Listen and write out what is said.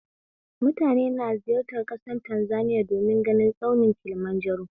Mutane na ziyartar ƙasar Tanzaniya domin ganin tsaunin kilimanjaro